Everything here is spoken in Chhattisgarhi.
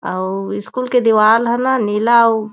अउ स्कूल के दीवाल ह न नीला अउ